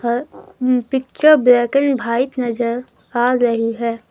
और um picture बेहतरीन bike नजर आ रही है।